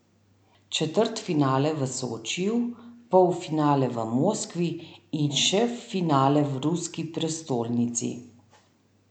Četrtfinale v Sočiju, polfinale v Moskvi in še finale v ruski prestolnici?